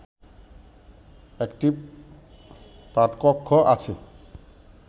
একটি পাঠকক্ষ আছে